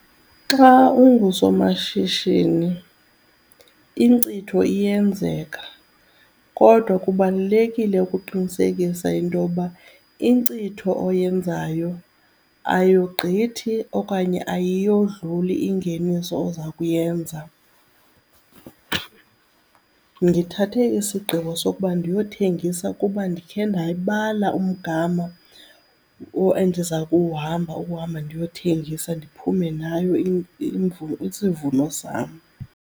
Xa ungusomashishini inkcitho iyenzeka kodwa kubalulekile ukuqinisekisa into yoba inkcitho oyenzayo ayogqithi okanye ayiyodluli ingeniso oza kuyenza. Ndithathe isigqibo sokuba ndiyothengisa kuba ndikhe ndayibala umgama endiza kuwuhamba ukuhamba ndiyothengisa ndiphume nayo isivuno sam.